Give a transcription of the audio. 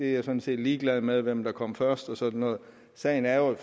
er jeg sådan set ligeglad med altså hvem der kom først og sådan noget sagen er jo at